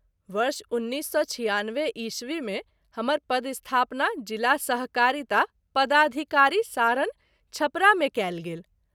वर्ष १९९६ ई० मे हमर पदस्थापना जिला सहकारिता पदाधिकारी, सारण (छपरा) मे कएल गेल।